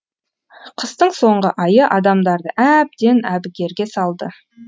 қыстың соңғы айы адамдарды әбден әбігерге салды